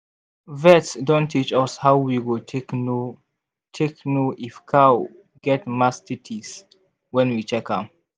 vet don teach us how we go take know take know if cow get mastitis when we check am.